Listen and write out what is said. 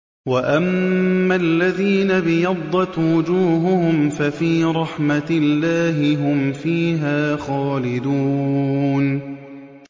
وَأَمَّا الَّذِينَ ابْيَضَّتْ وُجُوهُهُمْ فَفِي رَحْمَةِ اللَّهِ هُمْ فِيهَا خَالِدُونَ